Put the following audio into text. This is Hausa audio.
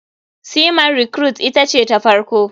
Sea man recruite ita ce ta farko.